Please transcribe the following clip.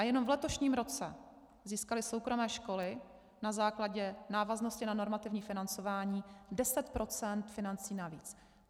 A jenom v letošním roce získaly soukromé školy na základě návaznosti na normativní financování 10 % financí navíc.